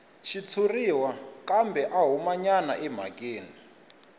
xitshuriwa kambe a humanyana emhakeni